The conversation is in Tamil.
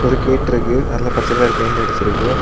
ஒரு கேட்ருக்கு அதுல பச்ச கலர் பெயிண்ட் அடிச்சிருக்கு.